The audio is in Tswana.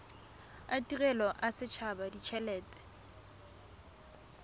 a tirelo a setshaba ditshelete